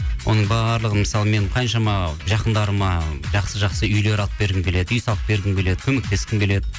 оның барлығын мысалы мен қаншама жақындарыма жақсы жақсы үйлер алып бергім келеді үй салып бергім келеді көмектескім келеді